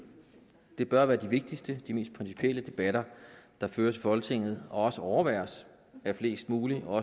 det bør være de vigtigste og de mest principielle debatter der føres i folketinget og også overværet af flest mulige og